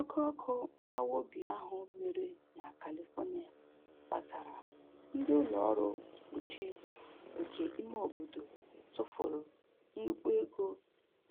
Oke ọkụ mgbawa obi ahụ mere na Califonia kpatara ndị ụlọ ọrụ mkpuchi nke ime obodo tụfuru nnukwu ego